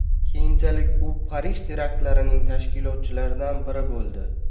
Keyinchalik u Parij teraktlarining tashkilotchilaridan biri bo‘ldi.